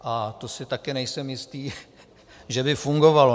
A to si také nejsem jistý , že by fungovalo.